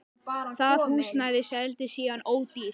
Það húsnæði seldist síðan ódýrt.